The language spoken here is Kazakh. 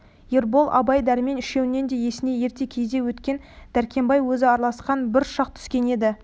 ербол абай дәрмен үшеуінің де есіне ерте кезде өткен дәркембай өзі араласқан бір шақ түскен еді